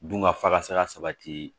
Dun ka fakasa sabati